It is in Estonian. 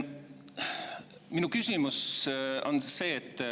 " Minu küsimus on see.